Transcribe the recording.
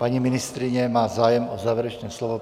Paní ministryně má zájem o závěrečné slovo.